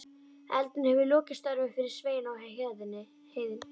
Eldurinn hefur lokið störfum fyrir Svein á heiðinni.